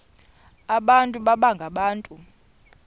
abantu baba ngabantu